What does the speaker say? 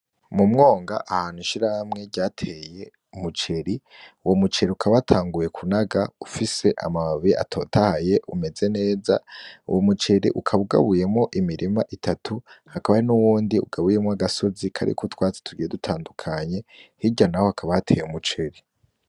Mu mwonga ahantu ishirahamwe ryateye umuceri uwo muceri ukaba wataguye kunaga ufise amababi atotahaye umeze neza, uwo muceri ukaba ugabuyemwo imirima itatu hakaba hari n'uwundi ugabuyemwo agasozi kariko utwatsi tugiye dutandukanye, hirya naho hakaba hateye umuceri.